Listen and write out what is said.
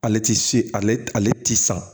Ale ti se ale ti sa